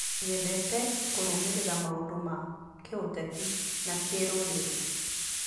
Nyendete kũrũmĩrĩra maũndũ ma kĩũteti na kĩrũrĩrĩ.